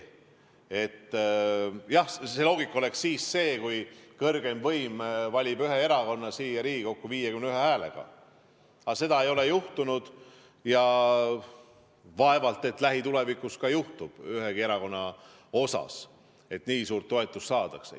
Jah, see loogika oleks siis, kui kõrgeim võim valiks ühe erakonna siia Riigikokku 51 häälega, aga seda ei ole juhtunud ja vaevalt ka lähitulevikus juhtub ühegi erakonnaga, et nii suur toetus saadakse.